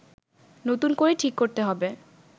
নতুন করে ঠিক করতে হবে